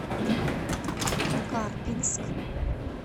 карпинск